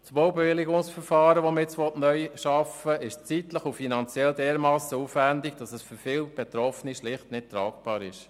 Das neue Baubewilligungsverfahren ist diesbezüglich zeitlich und finanziell dermassen aufwendig, dass es für viele Betroffene schlicht nicht tragbar ist.